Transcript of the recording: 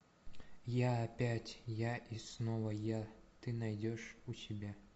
я опять я и снова я ты найдешь у себя